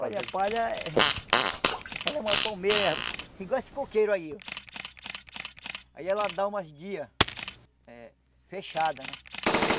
Olha, a palha ela é uma palmeira igual esse coqueiro aí ó Aí ela dá umas guias eh fechadas, né?